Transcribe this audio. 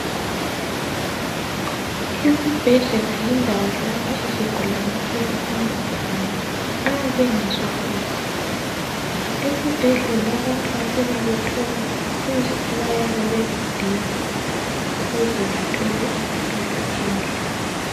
Esibhedlela yindawo lapho izigulane ezihamba khona nxa bengezwa kuhle. Esibhedlela abantu bafike bethole usizo abayabe beludinga ukuze bathole impilo enhle.